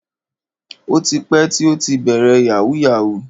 O ti pẹ́ tí ó ti bẹ̀rẹ̀ yahoo yahoo.